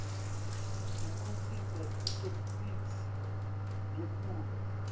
bukhicite itheksthi letfulwe